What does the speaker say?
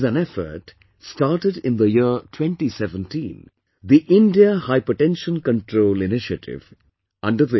This is an effort, started in the year 2017 the "India Hypertension Control Initiative"